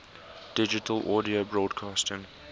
digital audio broadcasting